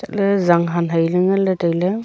le zanghan hai ley ngan ley tai ley.